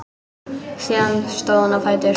Síðan stóð hún á fætur.